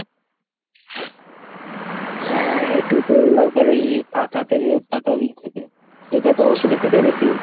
হ্যাঁ এটা তো একবার এই পাতা থেকে পাটারি থেকে, এটা তো ওষুধের থেকে বেশি